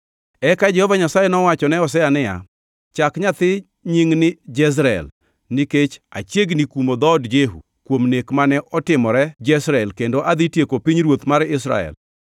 Eka Jehova Nyasaye nowachone Hosea niya, “Chak nyathi nying ni Jezreel nikech achiegni kumo dhood Jehu kuom nek mane otimore Jezreel kendo adhi tieko pinyruoth mar Israel.